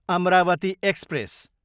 Amravati express